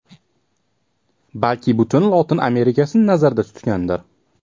Balki butun Lotin Amerikasini nazarda tutgandir.